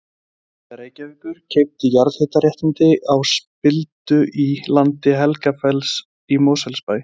Hitaveita Reykjavíkur keypti jarðhitaréttindi á spildu í landi Helgafells í Mosfellsbæ.